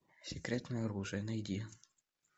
секретное оружие найди